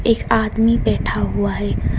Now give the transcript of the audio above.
एक आदमी बैठा हुआ है।